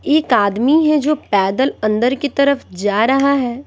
एक आदमी है जो पैदल अंदर की तरफ जा रहा है।